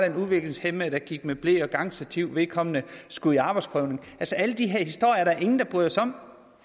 en udviklingshæmmet der gik med ble og gangstativ og vedkommende skulle i arbejdsprøvning alle de her historier er der ingen der bryder sig om